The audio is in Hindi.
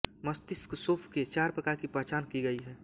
मस्तिष्क शोफ के चार प्रकार की पहचान की गई है